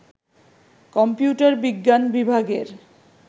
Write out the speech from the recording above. computer বিজ্ঞান বিভাগের